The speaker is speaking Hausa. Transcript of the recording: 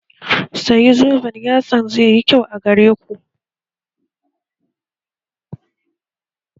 Sayi zoben yatsan zai yi kyau a gare ku